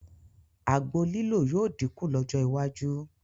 Àgbo lílò yóò dínkù lọ́jọ́ iwájú